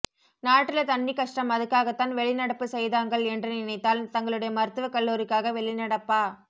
நாட்டுல தண்ணிக்கஷ்டம் அதுக்காகத்தான் வெளிநடப்பு செய்தாங்கள் என்று நினைத்தால் தங்களுடைய மருத்துவக்கல்லூரிக்காக வெளிநடப்பா